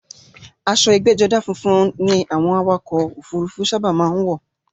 Aṣo ẹgbẹ́jọdá funfun ni àwọn awakọ̀ ọkò òfurufú sábà má ń wọ̀.